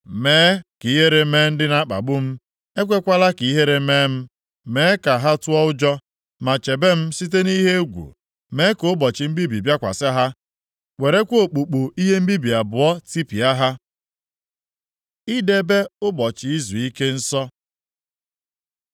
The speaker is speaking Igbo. Mee ka ihere mee ndị na-akpagbu m. Ekwekwala ka ihere mee m. Mee ka ha tụọ ụjọ, ma chebe m site nʼihe egwu. Mee ka ụbọchị mbibi bịakwasị ha, werekwa okpukpu ihe mbibi abụọ tipịa ha. Idebe Ụbọchị Izuike nsọ